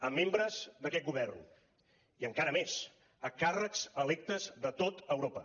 a membres d’aquest govern i encara més a càrrecs electes de tot europa